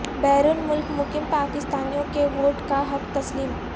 بیرون ملک مقیم پاکستانیوں کے ووٹ کا حق تسلیم